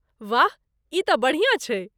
वाह, ई तँ बढ़िया छै।